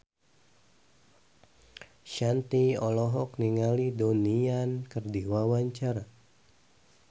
Shanti olohok ningali Donnie Yan keur diwawancara